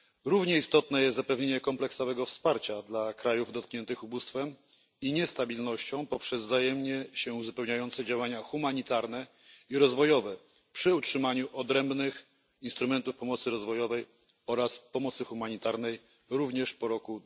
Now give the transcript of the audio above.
Równie istotne jest zapewnienie kompleksowego wsparcia dla krajów dotkniętych ubóstwem i niestabilnością poprzez wzajemnie się uzupełniające działania humanitarne i rozwojowe przy utrzymaniu odrębnych instrumentów pomocy rozwojowej oraz pomocy humanitarnej również po roku